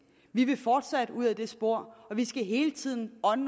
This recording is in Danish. vi vil fortsætte ud ad det spor og vi skal hele tiden ånde